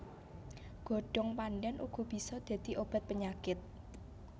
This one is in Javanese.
Godhong pandhan uga bisa dadi obat penyakit